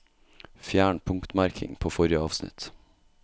Fjern punktmerking på forrige avsnitt